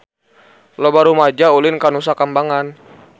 Loba rumaja ulin ka Nusa Kambangan